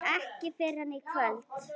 Ekki fyrr en í kvöld.